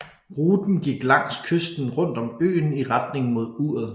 Ruten gik langs kysten rundt om øen i retning mod uret